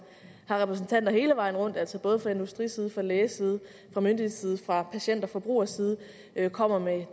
har repræsentanter hele vejen rundt altså både fra industriside fra lægeside fra myndighedsside fra patient og forbrugerside kommer med